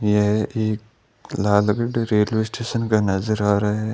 ये pic Lalgarh railway station का नजर आ रहा है।